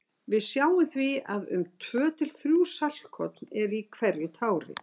Við sjáum því að um tvö til þrjú saltkorn eru í hverju tári.